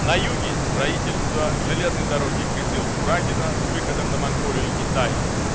на юге строительство железной дороги кызыл-курагино с выходом на монголию и китай